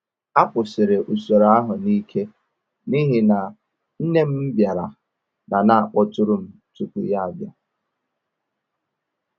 A kwụsịrị usoro ahụ n’ike n’ihi na nne m bịara na na akpọtụrụ m tupu ya bịa